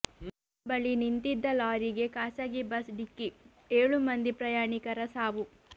ಶಿರಾ ಬಳಿ ನಿಂತಿದ್ದ ಲಾರಿಗೆ ಖಾಸಗಿ ಬಸ್ ಡಿಕ್ಕಿ ಏಳು ಮಂದಿ ಪ್ರಯಾಣಿಕರ ಸಾವು